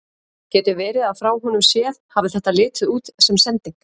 Getur verið að frá honum séð hafi þetta litið út sem sending?